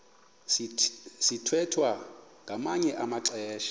sithwethwa ngamanye amaxesha